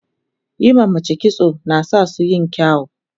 yin ma mace kitso nasasu yin kyau